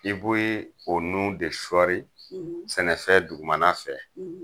I bo ye o nun de sɔri sɛnɛfɛn dugumana fɛ